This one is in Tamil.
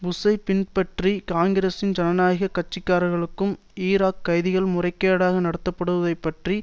புஷ்ஐ பின்பற்றி காங்கிரஸின் ஜனநாயக கட்சிக்காரர்களும் ஈராக் கைதிகள் முறைகேடாக நடத்தப்பட்டதை பற்றி